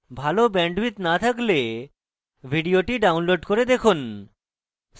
ভাল bandwidth না থাকলে ভিডিওটি download করে দেখুন